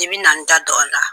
I bina n da don a la